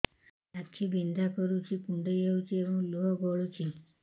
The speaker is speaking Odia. ଆଖି ବିନ୍ଧା କରୁଛି କୁଣ୍ଡେଇ ହେଉଛି ଏବଂ ଲୁହ ଗଳୁଛି